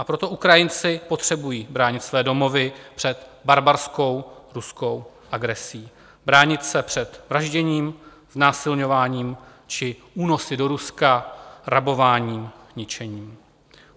A proto Ukrajinci potřebují bránit své domovy před barbarskou ruskou agresí, bránit se před vražděním, znásilňováním či únosy do Ruska, rabováním, ničením.